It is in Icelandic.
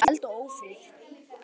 Hrópaði bara um eld og ófrið.